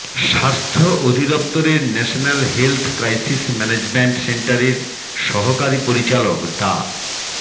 স্বাস্থ্য অধিদফতরের national health crisis management সেন্টারের সহকারী পরিচালক ডা